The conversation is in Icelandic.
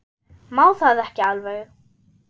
Má það ekki alveg?